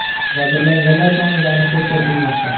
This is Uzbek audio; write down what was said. Jabrlanganlar soniga aniqlik kiritilmoqda.